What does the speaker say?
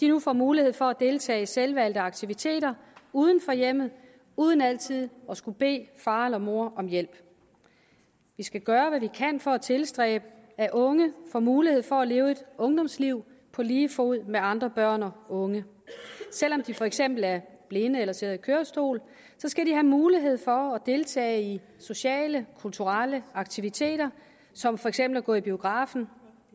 nu får mulighed for at deltage i selvvalgte aktiviteter uden for hjemmet uden altid at skulle bede far eller mor om hjælp vi skal gøre hvad vi kan for at tilstræbe at unge får mulighed for at leve et ungdomsliv på lige fod med andre børn og unge selv om de for eksempel er blinde eller sidder i kørestol skal de have mulighed for at deltage i sociale og kulturelle aktiviteter som for eksempel at gå i biografen